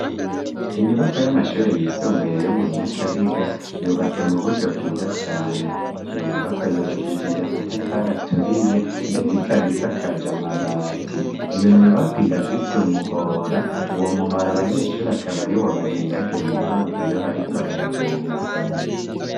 Inyubako y'amashure yisumbuye yo mu nyakabiga yubatse mu buryo bwiza cane iyo nyubako yubakishije amatafari aturiye, ndetse ikabisa kaja amabati iyo nyubako irafise umuhora uwo muhora abanyeshuri akabari wo bagendagendamwo iyo bariko baraja mu masomero.